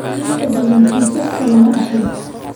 Inta badan kiisaska lama dhaxlo.